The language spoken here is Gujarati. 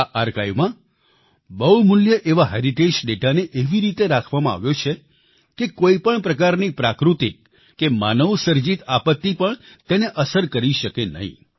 આ આર્કાઇવ માં બહુમૂલ્ય એવા હેરિટેજ ડેટાને એવી રીતે રાખવામાં આવ્યો છે કે કોઈપણ પ્રકારની પ્રાકૃતિક કે માનવસર્જિત આપત્તિ પણ તેને અસર કરી શકે નહીં